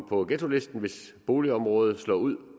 på ghettolisten hvis boligområdet slår ud